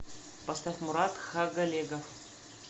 поставь мурат тхагалегов